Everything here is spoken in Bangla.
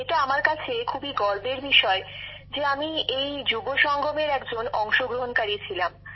এটা আমার কাছে খুবই গর্বের বিষয় যে আমি এই যুব সংগমের একজন অংশগ্রহণকারী ছিলাম